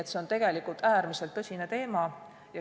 See on äärmiselt tõsine teema.